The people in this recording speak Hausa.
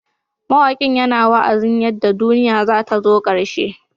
Mawakin yana wa'azin yadda duniya zata zo karshe.